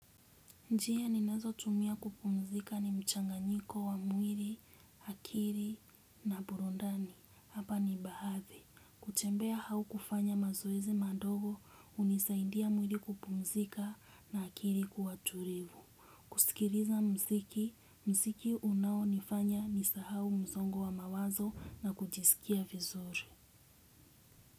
Njia ni nazo tumia kupumzika ni mchanganyiko wa mwiri, akiri na burundani. Hapa ni bahathe. Kutembea hau kufanya mazoezi madogo unisaidia mwiri kupumzika na akiri kuwa tulivu. Kusikiriza mziki. Mziki unao nifanya nisa hau mzongo wa mawazo na kujisikia vizuri.